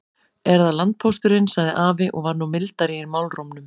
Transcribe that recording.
Er það landpósturinn, sagði afi og var nú mildari í málrómnum.